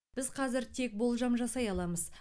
біз қазір тек болжам жасай аламыз